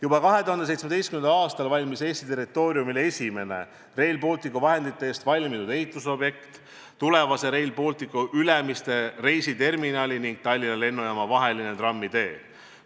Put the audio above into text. Juba 2017. aastal valmis Eesti territooriumil esimene Rail Balticu vahendite eest ehitatud objekt – tulevase Rail Balticu Ülemiste reisiterminali ning Tallinna Lennujaama vaheline trammitee.